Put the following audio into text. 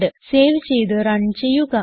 save ചെയ്ത് run ചെയ്യുക